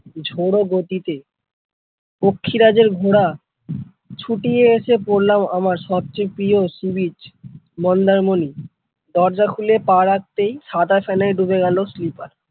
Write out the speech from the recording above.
ঝড়ো গতিতে পক্ষীরাজের ঘোড়া ছুটিয়ে এসে পড়লাম আমার সবচেয়ে প্রিয় sea beach মন্দারমনি দরজা খুলে পা রাখতেই সাদা ফেনায় ডুবে গেল sleeper ।